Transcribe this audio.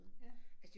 Ja